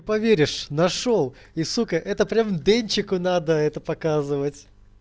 поверишь нашёл и сука это прям денчику надо это показывать